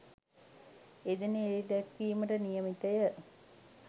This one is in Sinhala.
එදින එළිදැක්වීමට නියමිතය